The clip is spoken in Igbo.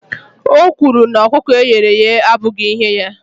O kwuru na ọkụkọ e ghere eghe abụghị ihe ya